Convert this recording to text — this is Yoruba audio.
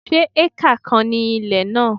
Se acre kan ni ilẹ̀ náà?